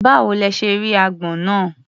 Báwo lẹ ṣe rí agbọ́n náà?